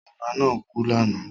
Ọba náà kú lánàá.